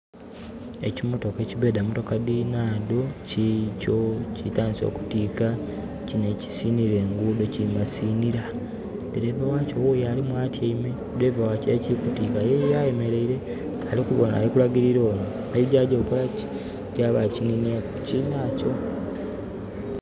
Ekimotoka ekibeedha motoka dhinadho kikyo kitandise okutiika kino ekisiinira enguudho kimasiinira. Dereeva wakyo wuyo alimu atyaime, dereeva wa kire ekiri kutiika ye ayemeleire. Ali kubona, ali kulagilila ono engeri gyaagya okukolaki? Engeri gyaba kininyeeku kukinaakyo.